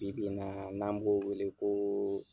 Bi bi in na, n'an b'o wele ko